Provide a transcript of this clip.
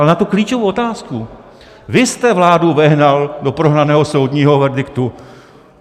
Ale na tu klíčovou otázku - vy jste vládu vehnal do prohraného soudního verdiktu.